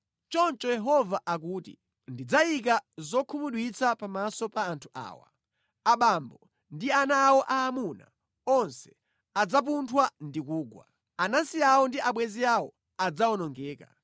Choncho Yehova akuti, “Ndidzayika zokhumudwitsa pamaso pa anthu awa. Abambo ndi ana awo aamuna onse adzapunthwa ndi kugwa; anansi awo ndi abwenzi awo adzawonongeka.”